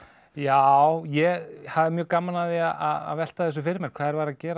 já ég hafði mjög gaman af því að velta þessu fyrir mér hvað þeir væru að gera